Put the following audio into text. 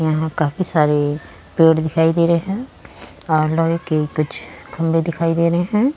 यहाँ काफी सारे पेड़ दिखाई दे रहे हैं और लोहे के कुछ खंबे दिखाई दे रहे हैं।